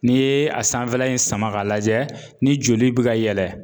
N'i ye a sanfɛla in sama ka lajɛ ni joli be ka yɛlɛ